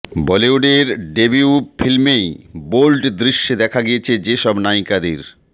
বলিউডের ডেবিউ ফিল্মেই বোল্ড দৃশ্যে দেখা গিয়েছে যে সব নায়িকাদের